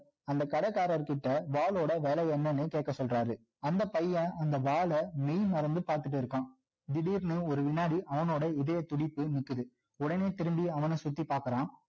அந்த கடைக்காரர்கிட்ட வாளோட விலை என்னன்னு கேட்க சொல்றாரு அந்த பையன் அந்த வாள மெய் மறந்து பார்த்துட்டு இருக்கான் திடீர்னு ஒரு வினாடி அவனோட இதைய துடிப்பு நிக்குது உடனே திரும்பி அவன சுத்தி பார்க்குறான்